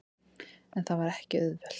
En það er ekki auðvelt.